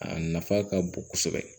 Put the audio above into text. A nafa ka bon kosɛbɛ